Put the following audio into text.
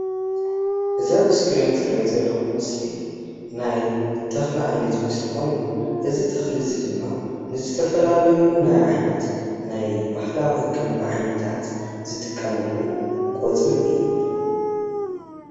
እዛ ኣብ እስክሪን ዝሪኣ ዘለኹ ምስሊ ናይ ተኽሊ ዓይነት ምስሊ ኮይኑ እዚ ተኽሊ እዚ ድማ ንዝተፈላለዩ ናይ ዓይነት፣ ናይ ባህላዊ ሕክምና ዓይነታት ዝጥቀምሉ ቆፅሊ እዩ።